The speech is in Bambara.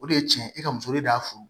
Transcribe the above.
O de ye tiɲɛ ye e ka muso de y'a furu